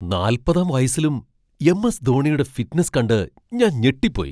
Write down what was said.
നാല്പതാം വയസ്സിലും M. S. ധോണിയുടെ fitness കണ്ട് ഞാൻ ഞെട്ടിപ്പോയി.